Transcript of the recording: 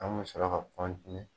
An kun me sɔrɔ ka